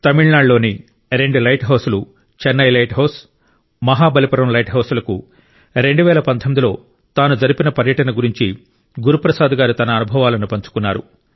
తమిళనాడులోని రెండు lighthouse లు Chennai lighthouse Mahabalipuram lighthouse లకు 2019లో తాను జరిపిన పర్యటన గురించి గురు ప్రసాద్ గారు తన అనుభవాలను పంచుకున్నారు